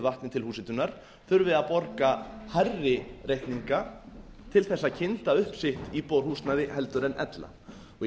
vatni til húshitunar þurfi að borga hærri reikninga til að kynda upp sitt íbúðarhúsnæði heldur en ella í